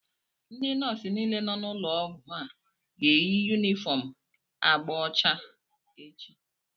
Ndị nọọsụ niile nọ n'ụlọọgwụ a ga-eyi yunifọm agba ọcha echi